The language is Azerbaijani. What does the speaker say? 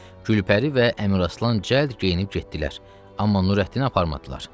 Gülpəri və Əmraslan cəld geyinib getdilər, amma Nurəddini aparmadılar.